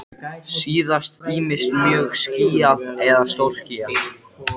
Og hann bærði sjálfur varirnar, nákvæmlega eins og hún.